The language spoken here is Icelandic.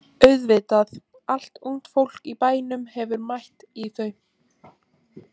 Auðvitað, allt ungt fólk í bænum hefur mætt í þau.